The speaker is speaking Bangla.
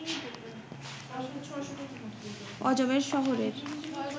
অজমের শহরের